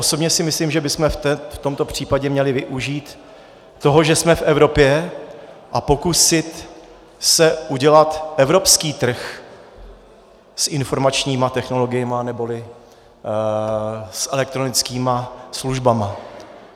Osobně si myslím, že bychom v tomto případě měli využít toho, že jsme v Evropě, a pokusit se udělat evropský trh s informačními technologiemi neboli s elektronickými službami.